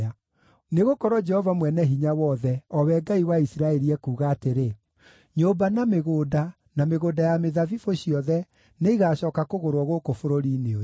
Nĩgũkorwo Jehova Mwene-Hinya-Wothe, o we Ngai wa Isiraeli, ekuuga atĩrĩ: Nyũmba, na mĩgũnda, na mĩgũnda ya mĩthabibũ ciothe nĩigacooka kũgũrwo gũkũ bũrũri-inĩ ũyũ.’